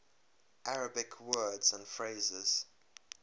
arabic words and phrases